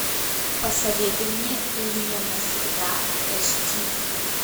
посоветуй мне лиля навсегда аш ди